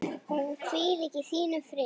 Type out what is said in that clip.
Hún hvíli í þínum friði.